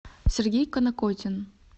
сергей канакотин